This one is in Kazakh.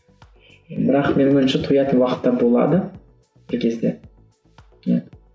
бірақ менің ойымша тоятын уақыт та болады бір кезде иә